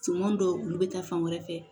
Finman dɔw olu bɛ taa fan wɛrɛ fɛ